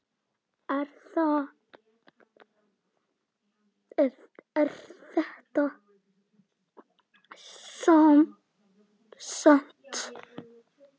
Er þetta satt?